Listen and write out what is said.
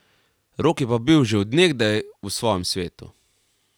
Rok je pa bil že od nekdaj v svojem svetu.